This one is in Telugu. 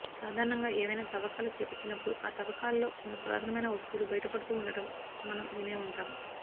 సాధారణంగా ఏవైనా తవ్వకాలు చేపట్టినప్పుడు ఆ తవ్వకాలలో కొన్ని పురాతనమైన వస్తువులు బయట పడుతూ ఉండటం మనం వినే వుంటాం